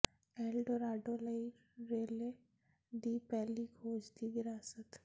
L Dorado ਲਈ Raleigh ਦੀ ਪਹਿਲੀ ਖੋਜ ਦੀ ਵਿਰਾਸਤ